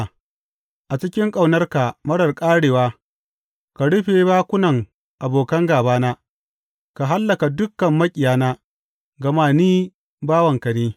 A cikin ƙaunarka marar ƙarewa, ka rufe bakunan abokan gābana; ka hallaka dukan maƙiyana, gama ni bawanka ne.